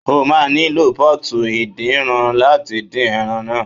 O máa nílò Pọ́ọ̀tù ìdín ran láti dín ẹran náà.